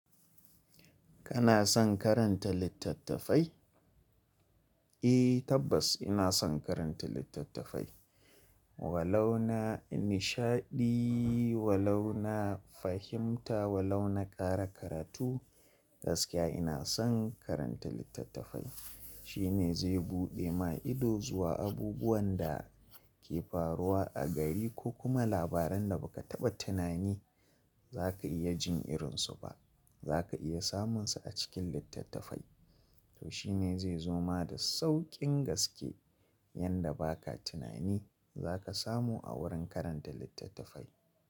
Kana son karanta littattafai? Eh tabbas ina son karanta littattafai. Wa launa nishaɗi, wa launa fahimta, wa launa ƙara karatu, gaskiya ina son karanta littattafai. Shine zai buɗe ma ido zuwa abubuwan da ke faruwa a gari ko kuma labaran da ba ka taɓa tunani za ka iya jin irinsu ba. Za ka iya samun su a cikin littattafai. To shine zai zo ma da sauƙin gaske yanda ba ka tunani za ka samu a wurin karanta littattafai.